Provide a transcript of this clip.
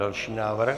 Další návrh.